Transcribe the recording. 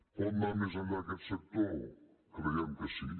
pot anar més enllà aquest sector creiem que sí